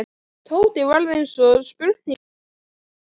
Tóti varð eins og spurningarmerki í framan.